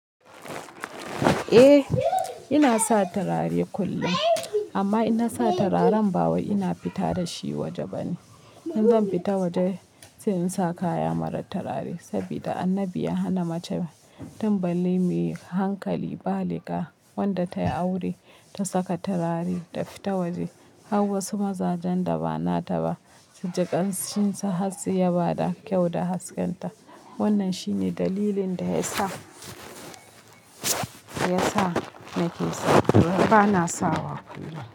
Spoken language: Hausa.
Eh ina sa turare kullum amma inna sa turaren ba wai ina fita dashi waje bane. In zan fita waje sai in sa kaya mara turare saboda annabi ya hana mace tin balle mai hankali baliga wanda tayi aure ta saka turare ta fita waje har wasu mazajen da ba nata ba suji ganshin sa har su yaba da kyau da hasken ta. Wannan shine dalilin da yasa, yasa nake sawa— bana sawa kullum.